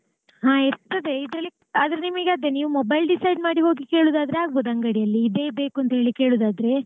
ಹಾ ಇರ್ತದೆ ಇದ್ರಲ್ಲಿ ಆದ್ರೆ ನಿಮಗೆ ಅದೇ ನೀವ್ mobile decide ಮಾಡಿಹೋಗಿ ಕೇಳೋದಾದ್ರೆ ಆಗ್ಬೋದು ಅಂಗಡೀಲಿ ಇದೇ ಬೇಕು ಅಂತ ಹೇಳಿ ಕೇಳೋದಾದ್ರೆ.